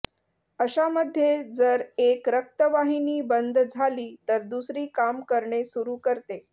अशा मध्ये जर एक रक्तवाहिनी बंद झाली तर दुसरी काम करणे सुरू करते